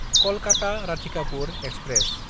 कलकाता–राधिकापुर express